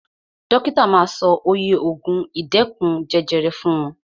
Dókítà ma sọ oye ògùn ìdẹ́kun jẹjẹrẹ fún wọn.